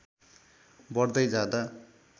बढ्दै जाँदा